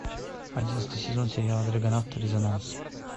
одиннадцатый сезон сериала драгонавт резонанс